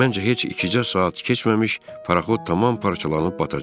Məncə heç ikicə saat keçməmiş paraxod tamam parçalanıb batacaq.